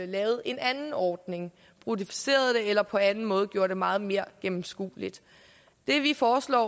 lavede en anden ordning bruttoficerede det eller på anden måde gjorde det meget mere gennemskueligt det vi foreslår